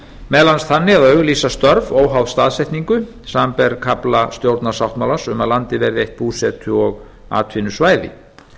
meðal annars þannig að auglýsa störf óháð staðsetningu samanber kafla stjórnarsáttmálans að landið verði eitt búsetu og atvinnusvæði